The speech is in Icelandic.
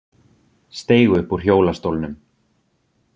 Steig upp úr hjólastólnum